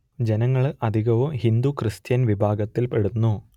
ജനങ്ങൾ അധികവും ഹിന്ദു ക്രിസ്ത്യൻ വിഭാഗങ്ങളിൽ പെടുന്നു